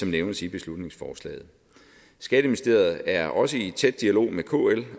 nævnes i beslutningsforslaget skatteministeriet er også i tæt dialog med kl